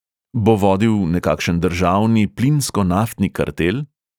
Bo vodil nekakšen državni plinsko-naftni kartel?